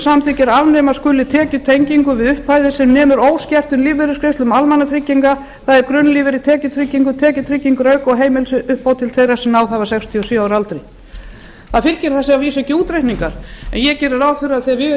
samþykkir að afnema skuli tekjutengingu við upphæðir sem nemur óskertum lífeyrisgreiðslum almannatrygginga það er grunnlífeyri tekjutryggingu tekjutryggingarauka og heimilisuppbót til þeirra sem náð hafa sextíu og sjö ára aldri það fylgja þessu að vísu ekki útreikningar en ég geri ráð fyrir af því að við